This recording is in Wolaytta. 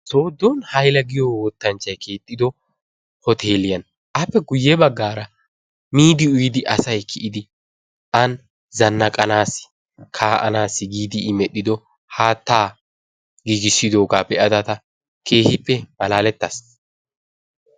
Soodon hayla giyoo wottanchchay keexxido hoteliyaa appe guyya baggaara miidi uyiidi asay kiiyidi an zanaqanassi kaa"anaassi giidi i medhdhido haattaa giigisidoogaa be'ada ta keehippe malaalettaas.